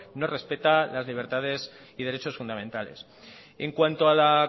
no respeta las libertades y derechos fundamentales en cuanto a la